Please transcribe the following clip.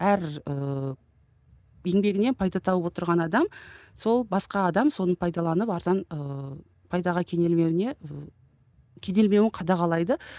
әр ыыы еңбегінен пайда тауып отырған адам сол басқа адам соны пайдаланып арзан ыыы пайдаға кенелмеуіне ыыы кенелмеуін қадағалайды